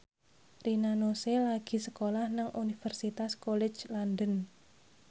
Rina Nose lagi sekolah nang Universitas College London